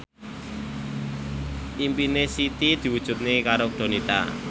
impine Siti diwujudke karo Donita